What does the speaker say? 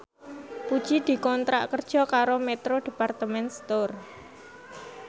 Puji dikontrak kerja karo Metro Department Store